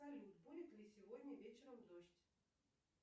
салют будет ли сегодня вечером дождь